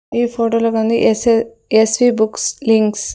ఈ ఫోటో లో గుంది S S V books links .